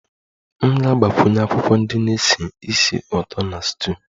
M ga-agbakwunye akwụkwọ ndị na-esi ísì ụtọ na stew